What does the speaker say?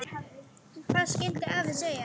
Hvað skyldi afi segja?